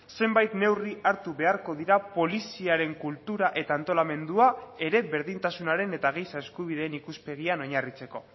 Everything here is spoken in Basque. zenbait neurri hartu beharko dira poliziaren kultura eta antolamendua ere berdintasunaren eta giza eskubideen ikuspegian oinarritzeko